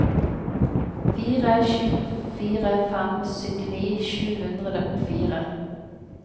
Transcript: fire sju fire fem syttini sju hundre og fire